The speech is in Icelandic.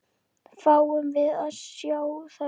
Fáum við að sjá þær?